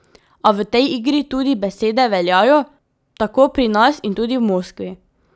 A v tej igri tudi besede veljajo, tako pri nas in tudi v Moskvi.